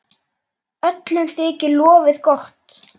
Öllum þykir lofið gott.